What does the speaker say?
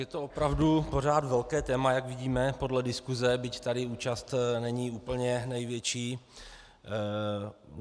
Je to opravdu pořád velké téma, jak vidíme podle diskuse, byť tady účast není úplně největší.